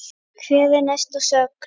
Hver er næsta sögn?